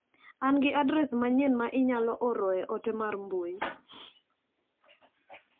An gi adres manyien ma inyalo oroe ote mar mbui.